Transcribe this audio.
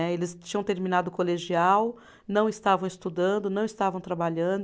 Né, eles tinham terminado o colegial, não estavam estudando, não estavam trabalhando.